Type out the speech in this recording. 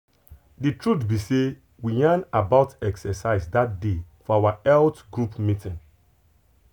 the truth be sey we yan about exercise that day for our health group meeting.